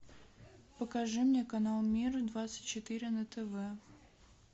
покажи мне канал мир двадцать четыре на тв